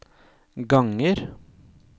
ganger